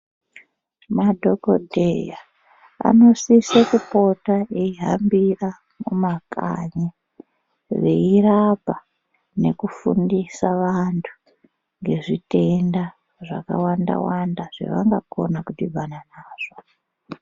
Madhokodheya anosise kupopota eyihambira mumakanyi veyirapa nokufundisa vandu ngezvitenda zvakawanda wanda zvavangakona kudhibana nazvo.